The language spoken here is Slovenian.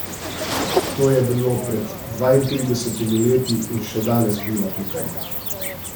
To je bilo pred dvaintridesetimi leti in še danes biva tukaj.